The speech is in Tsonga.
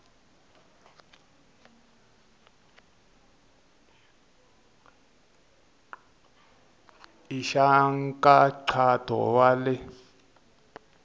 i xa nkhaqato wa le